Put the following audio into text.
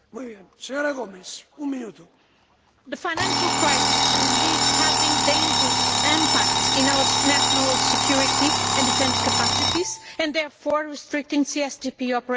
Mr President, the financial crisis is having a dangerous impact on our national security and defence capacities and therefore restricting CSDP operationality.